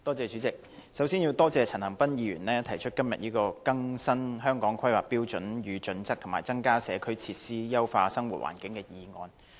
主席，我首先要多謝陳恒鑌議員今天提出"更新《香港規劃標準與準則》及增加社區設施以優化生活環境"的議案。